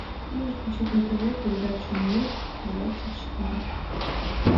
можешь включить на тв передачу мир двадцать четыре